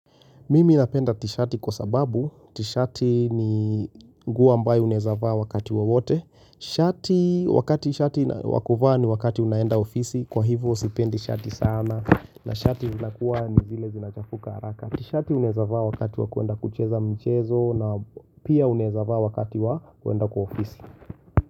Mimi napenda tishati kwa sababu, tshati ni nguo ambayo unaeza vaa wakati wowote. Shati wakati shati wa kuvaa ni wakati unaenda ofisi, kwa hivo sipendi shati sana na shati unakuwa ni vile zinachafuka haraka. Tishati unaeza vaa wakati wa kuenda kucheza mchezo na pia unaeza vaa wakati wa kuenda kwa ofisi.